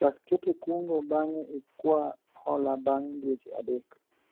chak keto kungo bang'e ikwa hola bang' dweche adek